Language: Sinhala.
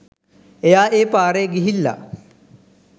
එයා ඒ පාරේ ගිහිල්ලා